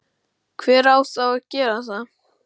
hver á þá að gera það?